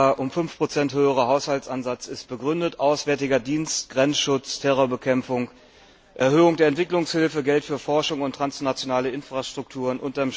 Der um 5 höhere Haushaltsansatz ist begründet Auswärtiger Dienst, Grenzschutz, Terrorismusbekämpfung, Erhöhung der Entwicklungshilfe, Geld für Forschung und transnationale Infrastrukturen.